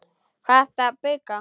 Hvað ertu að bauka?